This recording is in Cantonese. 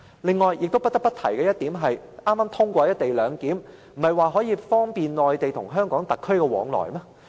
此外，不得不提的是，剛通過的"一地兩檢"，不是說可以方便內地與香港特區往來嗎？